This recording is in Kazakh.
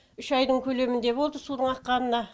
үш айдың көлеміндей болды судың аққанына